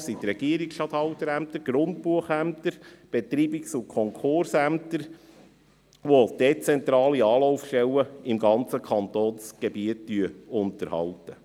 Es sind die Regierungsstatthalterämter, die Grundbuchämter, die Betreibungs- und Konkursämter, welche dezentrale Anlaufstellen im ganzen Kantonsgebiet unterhalten.